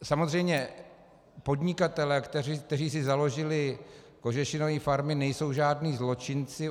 Samozřejmě podnikatelé, kteří si založili kožešinové farmy, nejsou žádní zločinci.